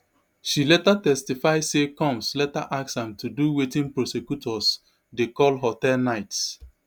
she later testify say combs later ask am to do wetin prosecutors dey call hotel nights